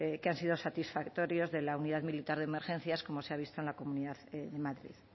que han sido satisfactorios de la unidad militar de emergencias como se ha visto en la comunidad de madrid